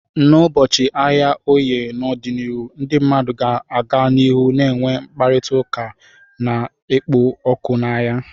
N'ụbọchị ahịa Oye n'ọdịnihu, ndị mmadụ ga-aga n'ihu na-enwe mkparịta ụka na-ekpo ọkụ n'ahịa.